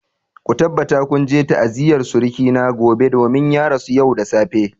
Ku tabbata kun je ta'aziyar suruki na gobe domin ya rasu yau da safe!